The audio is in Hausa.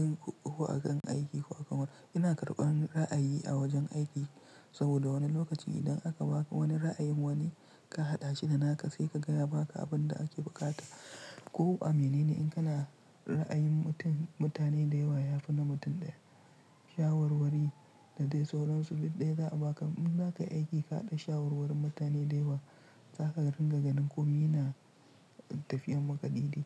In ko a kan aiki ko a kan wani, ina karɓan ra'ayi a wajen aiki saboda wani lokaci idan aka baka wani ra'ayin wani ka haɗa shi da naka sai ka gaya baka abin da ake bukata. Ko a mene ne, in kana ra'ayin mutum, mutane da yawa ya fi na mutum ɗaya. Shawarwari da dai sauransu duk ɗaya za a baka. In zaka aiki kaɗa shawarwarin mutane da yawa, zaka ringa ganin komi na tafiyar maka daide.